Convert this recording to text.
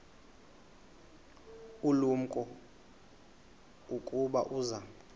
ulumko ukuba uza